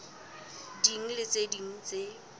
ding le tse ding tse